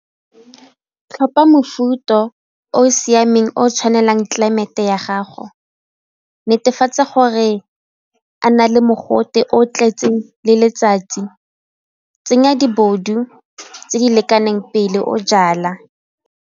Tlhopha mofuta yo o siameng o tshwanelang tlelaemete ya gago, netefatsa gore a na le mogote o tletseng le letsatsi, tsenya di bobodu tse di lekaneng pele o jala.